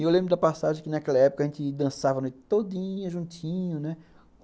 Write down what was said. E eu lembro da passagem que, naquela época, a gente dançava a noite todinha, juntinho, né?